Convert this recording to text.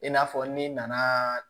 I n'a fɔ n'i nana